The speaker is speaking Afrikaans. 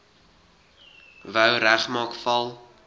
wou regmaak val